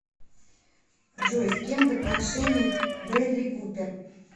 джой с кем в отношениях брэдли купер